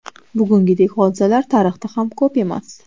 Bugungidek hodisalar tarixda ham ko‘p emas.